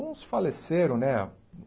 Uns faleceram, né?